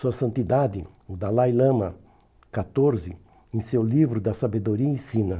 Sua santidade, o Dalai Lama catorze, em seu livro da sabedoria, ensina.